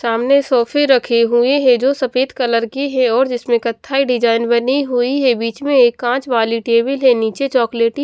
सामने सोफे रखे हुए हैं जो सफेद कलर के है और जिसमें कथाई डिजाइन बनी हुई है बीच में एक काँच वाली टेबल है नीचे चॉकलेटी --